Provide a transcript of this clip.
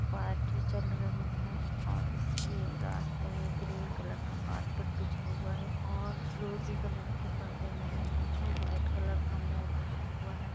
Party चल रही है और इसके रास्ते मे ग्रीन कलर का कारपेट बिछा हुआ है और फ़िरोज़ी कलर के परदे लगी हुए है वाइट कलर का मोर खड़ा हुआ है।